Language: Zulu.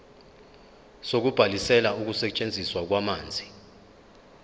sokubhalisela ukusetshenziswa kwamanzi